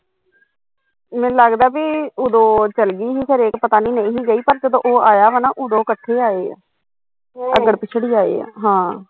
ਮੈਨੂੰ ਲੱਗਦਾ ਬਈ ਉਦੋਂ ਚੱਲਗੀ ਸੀ ਖਰੇ ਪਤਾ ਨੀ ਨਹੀਂ ਗਈ ਪਰ ਜਦੋਂ ਉਹ ਆਇਆ ਵਾ ਨਾ ਉਦੋਂ ਕੱਠੇ ਆਏ ਆ ਅੱਗੜ ਪਿੱਛੜ ਈ ਆਏ ਆ ਹਾਂ